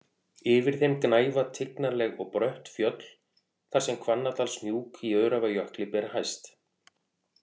Yfir þeim gnæfa tignarleg og brött fjöll þar sem Hvannadalshnúk í Öræfajökli ber hæst.